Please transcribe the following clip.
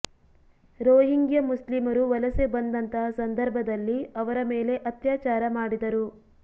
Rohingya ಮುಸ್ಲಿಮರು ವಲಸೆ ಬಂದಂತಹ ಸಂದರ್ಭದಲ್ಲಿ ಅವರ ಮೇಲೆ ಅತ್ಯಾಚಾರ ಮಾಡಿದರು